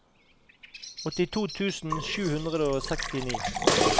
åttito tusen sju hundre og sekstini